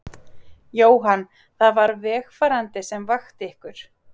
Jóhann: Það var vegfarandi sem vakti ykkur?